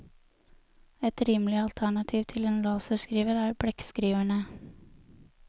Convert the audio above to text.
Et rimelig alternativ til en laserskriver er blekkskriverne.